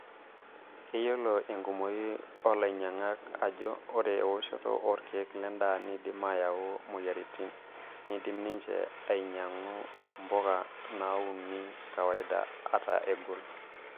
Keyiolo enkumoi oolainyiangak ajo ore eoshoto orkiek lendaa neidim ayau moyiaritin, neidim ninche ainyiang'u mpuka nauni kawaida ata egoli.